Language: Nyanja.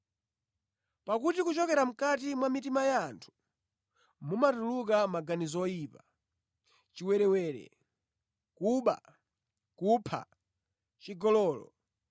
Pakuti kuchokera mʼkati mwa mitima ya anthu, mumatuluka maganizo oyipa, chiwerewere, kuba, kupha, chigololo,